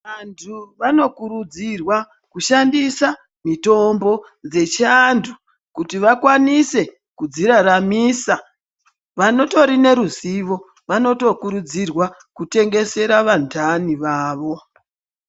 Vantu vanokuridzirwa kushandisa mitombo dzechiantu kuti vakwanise kudziraramisa. Vanotori neruzivo vanotokuridzirwa kutengesera vantani vavo.